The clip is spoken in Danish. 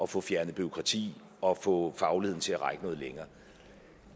få fjernet bureaukrati og få fagligheden til at række noget længere